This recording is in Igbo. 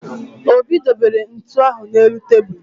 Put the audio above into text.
Obi dobere ntu ahụ n'elu tebulu